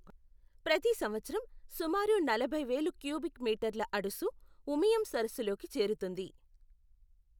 ప్రతి సంవత్సరం సుమారు నలభై వేలు క్యూబిక్ మీటర్ల అడుసు ఉమియం సరస్సులోకి చేరుతుంది.